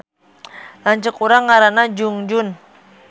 Lanceuk urang ngaranna Junjun